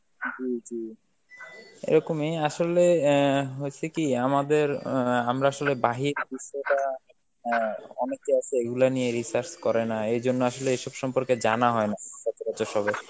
এরকমই, আসলে অ্যাঁ হইসে কি আমাদের অ্যাঁ আমরা আসলে অ্যাঁ অনেকে আছে এইগুলা নিয়ে research করে না, এইজন্য আসলে এইসব সম্পর্কে জানা হয় না সচরাচর সবার.